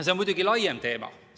See on muidugi laiem teema.